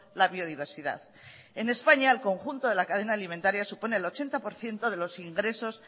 la biodiversidad en españa el conjunto de la cadena alimentaria supone el ochenta por ciento de los ingresos